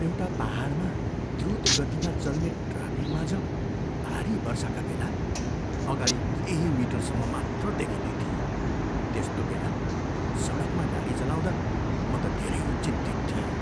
एउटा पाहाडमा द्रुत गतिमा चल्ने ट्राफिकमाझ भारी वर्षाका बेला अगाडि केही मिटरसम्म मात्र देखिँदैथिए। त्यस्तो बेला सडकमा गाडी चलाउँदा म त धेरै चिन्तित थिएँ।